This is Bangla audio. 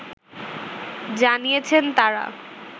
জানিয়েছেন তারা